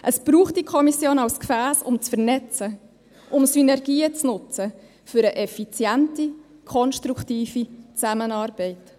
Es braucht diese Kommission als Gefäss, um zu vernetzen, um Synergien zu nutzen für eine effiziente, konstruktive Zusammenarbeit.